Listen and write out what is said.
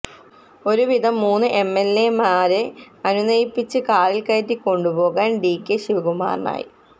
ഒരു വിധം മൂന്ന് എംഎൽഎമാരെ അനുനയിപ്പിച്ച് കാറിൽ കയറ്റിക്കൊണ്ടുപോകാൻ ഡി കെ ശിവകുമാറിനായി